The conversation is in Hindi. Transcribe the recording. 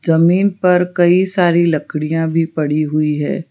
जमीन पर कई सारी लकड़ियां भी पड़ी हुईं है।